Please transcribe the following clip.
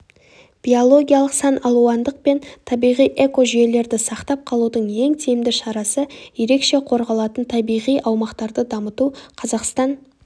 биологиялық саналуандық пен табиғи экожүйелерді сақтап қалудың ең тиімді шарасы ерекше қорғалатын табиғи аумақтарды дамыту қазақстан